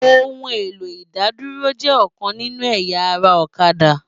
Óòún éló idádúró jè òkán ninú ëyá ará Òkàdá